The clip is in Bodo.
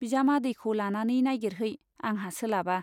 बिजामादैखौ लानानै नाइगिरहै , आंहा सोलाबा।